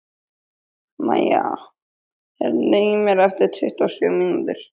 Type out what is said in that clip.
Maja, heyrðu í mér eftir tuttugu og sjö mínútur.